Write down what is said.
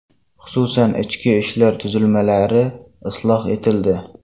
Xususan, ichki ishlar tuzilmalari isloh etildi.